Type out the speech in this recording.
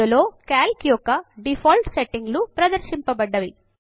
ఇందులో క్యాల్క్ యొక్క డీఫాల్ట్ సెట్టింగ్లు ప్రదర్శింపబడినవి